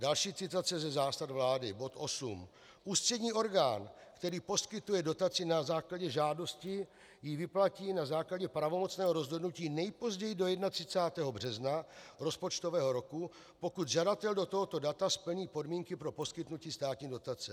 Další citace ze zásad vlády, bod 8: Ústřední orgán, který poskytuje dotaci na základě žádosti, ji vyplatí na základě pravomocného rozhodnutí nejpozději do 31. března rozpočtového roku, pokud žadatel do tohoto data splní podmínky pro poskytnutí státní dotace.